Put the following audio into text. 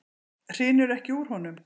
Hrinur ekki úr honum?